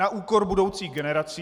Na úkor budoucích generací.